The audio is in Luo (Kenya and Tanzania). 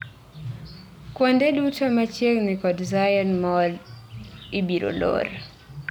Kuonde duto machiegni kod Zion Mall obiro lor